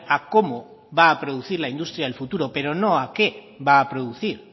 a cómo va a producir la industria del futuro pero no a qué va a producir